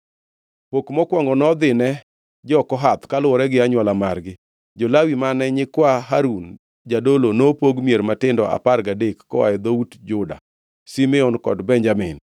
Pok mokwongo nodhine jo-Kohath kaluwore gi anywola margi. Jo-Lawi mane nyikwa Harun jadolo nopog mier matindo apar gadek koa e dhout Juda, Simeon kod Benjamin.